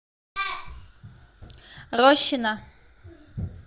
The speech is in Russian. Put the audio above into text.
рощино